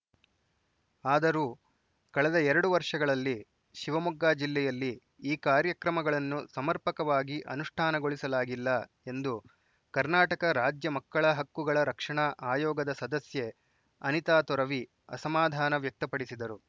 ಆದರೂ ಕಳೆದ ಎರಡು ವರ್ಷಗಳಲ್ಲಿ ಶಿವಮೊಗ್ಗ ಜಿಲ್ಲೆಯಲ್ಲಿ ಈ ಕಾರ್ಯಕ್ರಮಗಳನ್ನು ಸಮರ್ಪಕವಾಗಿ ಅನುಷ್ಠಾನಗೊಳಿಸಲಾಗಿಲ್ಲ ಎಂದು ಕರ್ನಾಟಕ ರಾಜ್ಯ ಮಕ್ಕಳ ಹಕ್ಕುಗಳ ರಕ್ಷಣಾ ಆಯೋಗದ ಸದಸ್ಯೆ ಅನಿತಾ ತೊರವಿ ಅಸಮಾಧಾನ ವ್ಯಕ್ತಪಡಿಸಿದರು